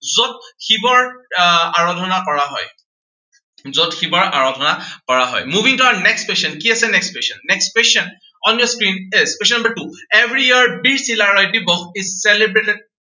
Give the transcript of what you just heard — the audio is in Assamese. যত শিৱৰ আহ আৰাধানা কৰা হয়। যত শিৱৰ আৰাধানা কৰা হয়। moving to our next question. কি আছে next question, next question, on your screen test, question number two. every year Bir Chilarai Divas is celebrated